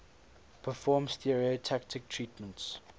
perform stereotactic treatments